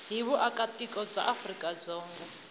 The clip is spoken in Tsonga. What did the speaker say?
hi vuakatiko bya afrika dzonga